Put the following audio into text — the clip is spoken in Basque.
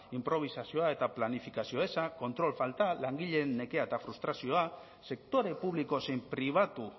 inprobisazioa eta planifikazio eza kontrol falta langileen nekea eta frustrazioa sektore publiko zein pribatu